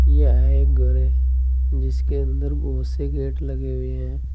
यह एक घर है जिसके अंदर बहुत से गेट लगे हुए हैं।